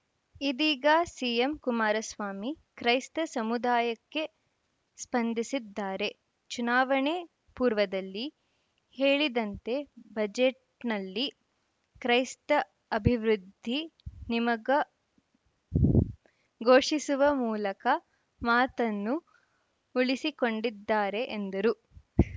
ಇದೀಗ ಸಿಎಂ ಕುಮಾರಸ್ವಾಮಿ ಕ್ರೈಸ್ತ ಸಮುದಾಯಕ್ಕೆ ಸ್ಪಂದಿಸಿದ್ದಾರೆ ಚುನಾವಣೆ ಪೂರ್ವದಲ್ಲಿ ಹೇಳಿದಂತೆ ಬಜೆಟ್‌ನಲ್ಲಿ ಕ್ರೈಸ್ತ ಅಭಿವೃದ್ಧಿ ನಿಮಗ ಘೋಷಿಸುವ ಮೂಲಕ ಮಾತನ್ನು ಉಳಿಸಿಕೊಂಡಿದ್ದಾರೆ ಎಂದರು